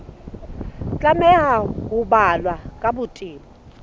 tlameha ho balwa ka botebo